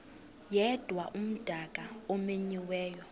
yedwa umdaka omenyiweyo